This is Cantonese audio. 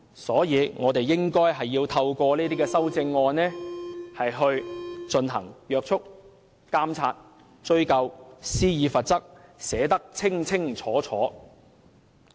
所以，我們應該透過修正案進行約束、監察、追究和施以罰則，全部也要寫得清清楚楚。